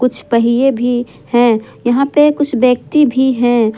कुछ पहिए भी है यहां पे कुछ व्यक्ति भी है।